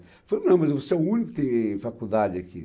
Ele falou, não, mas você é o único que tem faculdade aqui.